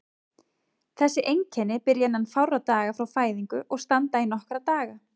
Þessi einkenni byrja innan fárra daga frá fæðingu og standa í nokkra daga.